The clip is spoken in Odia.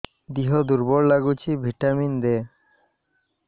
ଦିହ ଦୁର୍ବଳ ଲାଗୁଛି ଭିଟାମିନ ଦେ